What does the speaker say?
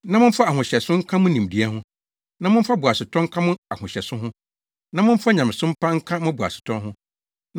na momfa ahohyɛso nka mo nimdeɛ ho; na momfa boasetɔ nka mo ahohyɛso ho; na momfa nyamesom pa nka mo boasetɔ ho;